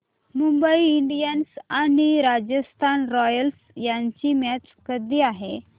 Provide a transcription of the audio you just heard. Mumbai Indians आणि Royals रॉयल्स यांची मॅच कधी आहे